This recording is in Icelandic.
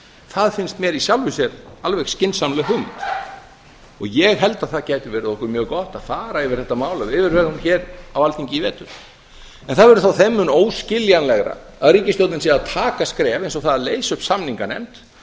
það finnst mér í sjálfu sér alveg skynsamleg hugmynd ég held að það gæti verið okkur mjög gott að fara yfir þetta mál af yfirvegun hér á alþingi í vetur en það verður þá þeim mun óskiljanlegra að ríkisstjórnin sé að taka skref eins og það að leysa upp samninganefnd